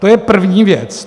To je první věc.